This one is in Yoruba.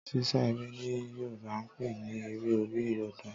Sísá eré ni Yorùbá ń pè ní eré orí ọ̀dàn